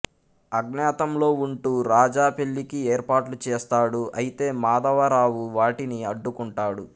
అజ్ఞాతంలో ఉంటూ రాజా పెళ్ళికి ఏర్పాట్లు చేస్తాడు అయితే మాధవ రావు వాటిని అడ్డుకుంటాడు